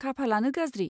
खाफालानो गाज्रि!